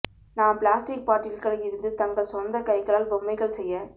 நாம் பிளாஸ்டிக் பாட்டில்கள் இருந்து தங்கள் சொந்த கைகளால் பொம்மைகள் செய்ய